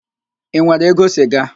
Ị nwere ego siga?